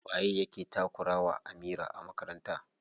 Waye yake takura wa Amira a makaranta?